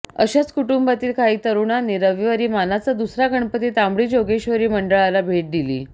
अशाच कुंटुंबातील काही तरुणांनी रविवारी मानाचा दुसरा गणपती तांबडी जोगेश्वरी मंडळाला भेट दिली